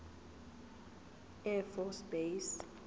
air force base